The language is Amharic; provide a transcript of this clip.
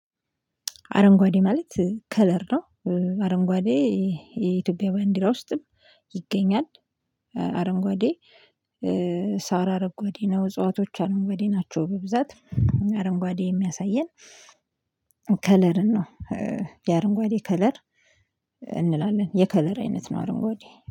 አረንጓዴ ማለት ከለር ነው። አረንጓዴ የኢትዮጵያ ባንዲራ ውስጥም ይገኛል። አረንጓዴ ሳራ አረንጓዴ ነው። እጽዋቶች አረንጓዴ ናቸው በብዛት። አረንጓዴ የሚያሳየን ከለርን ነው። የአረንጓዴ ከለር እንላለን፤ የከለር አይነት ነው አረንጓዴ።